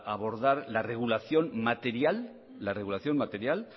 abordar la regulación material